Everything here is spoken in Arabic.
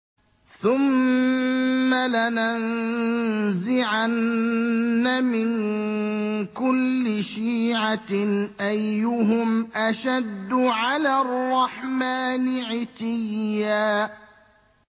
ثُمَّ لَنَنزِعَنَّ مِن كُلِّ شِيعَةٍ أَيُّهُمْ أَشَدُّ عَلَى الرَّحْمَٰنِ عِتِيًّا